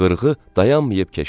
Qırğı dayanmayıb keçdi.